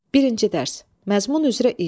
Birinci dərs: məzmun üzrə iş.